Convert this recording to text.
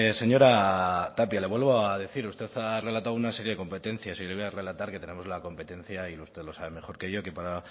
señora tapia le vuelvo a decir usted ha relatado una serie de competencias y yo le voy a relatar que tenemos la competencia y usted lo sabe mejor que yo que para